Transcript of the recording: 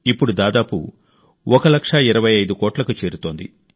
ఇప్పుడు దాదాపు ఒక లక్ష ఇరవై ఐదు కోట్లకు చేరుతోంది